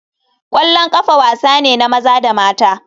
Kwallon kafa wasa ne na maza da mata.